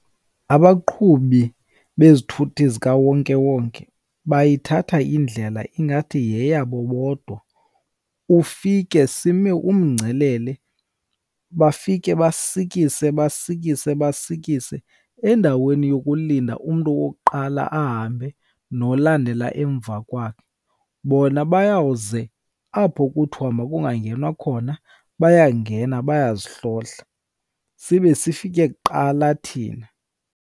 Abaqhubi bezithuthi zikawonkewonke bayithatha indlela ingathi yeyabo bodwa. Ufike sime umgcelele bafike basikise, basikise, basikise endaweni yokulinda umntu wokuqala ahambe nolandela emva kwakhe. Bona bayawuze apho kuthiwa makungangenwa khona, bayangena bayazihlohla sibe sifike kuqala thina.